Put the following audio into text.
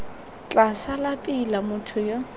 tla sala pila motho yo